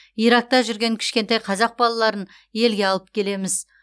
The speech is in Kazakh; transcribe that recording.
иракта жүрген кішкентай қазақ балаларын елге алып келеміз